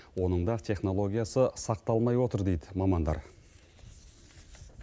оның да технологиясы сақталмай отыр дейді мамандар